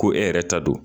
Ko e yɛrɛ ta don